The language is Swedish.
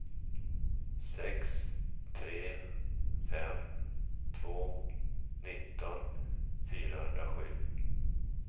sex tre fem två nitton fyrahundrasju